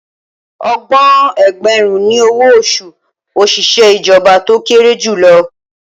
Ọgbọ̀n ẹgbẹ̀rún ni owó oṣù òṣìṣẹ́ ìjọba tó kéré jù lọ